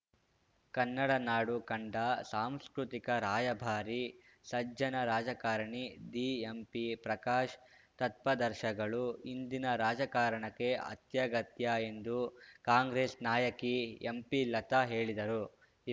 ಕನ್ನಡ ನಾಡು ಕಂಡ ಸಾಂಸ್ಕೃತಿಕ ರಾಯಭಾರಿ ಸಜ್ಜನ ರಾಜಕಾರಣಿ ದಿಎಂಪಿಪ್ರಕಾಶ್‌ ತತ್ಪದರ್ಶಗಳು ಇಂದಿನ ರಾಜಕಾರಣಕ್ಕೆ ಅತ್ಯಗತ್ಯ ಎಂದು ಕಾಂಗ್ರೆಸ್‌ ನಾಯಕಿ ಎಂಪಿಲತಾ ಹೇಳಿದರು